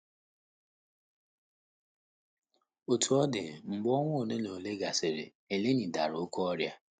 Otú ọ dị, mgbe ọnwa ole na ole gasịrị, Eleni dara oké ọrịa.